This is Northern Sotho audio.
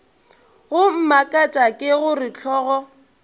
go mmakatša ke gore hlogo